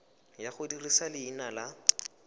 ya go dirisa leina la